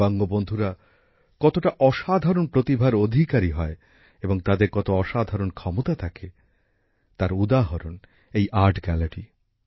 দিব্যাঙ্গ বন্ধুরা কতটা অসাধারণ প্রতিভার অধিকারী হয় এবং তাদের কত অসাধারণ ক্ষমতা থাকে তার উদাহরণ এই আর্ট গ্যালারি